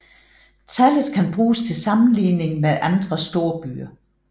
Tallet kan bruges til sammenligning med andre storbyer